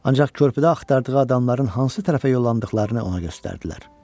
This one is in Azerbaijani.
Ancaq körpüdə axtardığı adamların hansı tərəfə yollandığını ona göstərdilər.